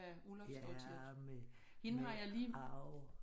Ja men jeg har jo